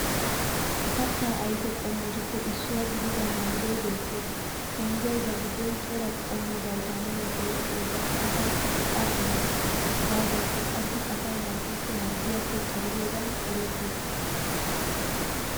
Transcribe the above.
Kattaa ayfe qommotuppe issuwa gidida manggoy beettes. Manggoy ba giddon cora qommo vitaminiya oyqqiyogan asaassi go'aa immees hegaadankka qassi asay harggikko harggiyappe xalliyogan erettees.